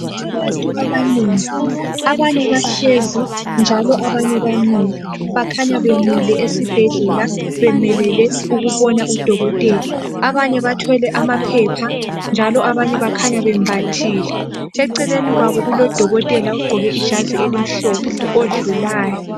Abantu abanengi, abanye bahlezi njalo abanye bamile. Bakhanya bemile esibhedlela bemelele ukubona udokotela. Abanye bathwele amaphepha njalo abanye bakhanya bembathile. Eceleni kwabo kulodokotela ogqoke ijazi elimhlophe odlulayo